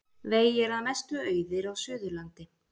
Vegir að mestu auðir á Suðurlandi